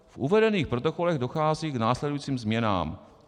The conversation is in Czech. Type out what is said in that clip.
V uvedených protokolech dochází k následujícím změnám."